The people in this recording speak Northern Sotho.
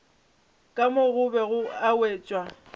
ka mo gobe e wetšwa